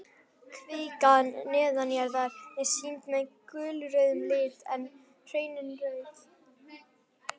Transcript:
Kvikan neðanjarðar er sýnd með gulrauðum lit en hraunin rauð.